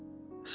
Nəçidir?